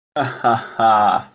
ха-ха